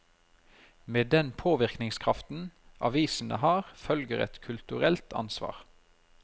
Med den påvirkningskraften avisene har, følger et kulturelt ansvar.